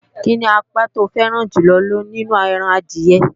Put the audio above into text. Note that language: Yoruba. Kíni apá to fẹ́ràn jùlọ nínú ẹran adìẹ?